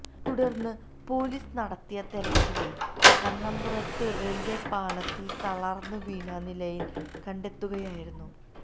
തുടർന്ന് പൊലീസ് നടത്തിയ തെരച്ചിലിൽ കണ്ണപുരത്ത് റെയിൽ പാളത്തിൽ തളർന്ന് വീണ നിലയിൽ കണ്ടെത്തുകയായിരുന്നു